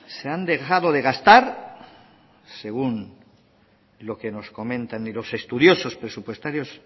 se han dejado de gastar según lo que nos comentan los estudiosos presupuestarios